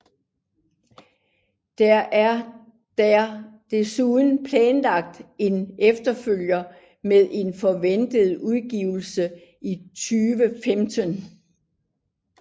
Der er der desuden planlagt en efterfølger med en forventet udgivelse i 2015